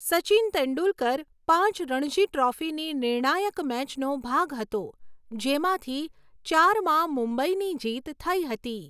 સચિન તેંડુલકર પાંચ રણજી ટ્રોફીની નિર્ણાયક મેચનો ભાગ હતો જેમાંથી ચારમાં મુંબઇની જીત થઈ હતી.